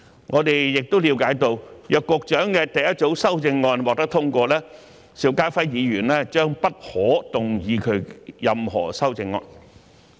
我們亦了解到，若局長的第一組修正案獲得通過，邵家輝議員將不可動議其任何修正案。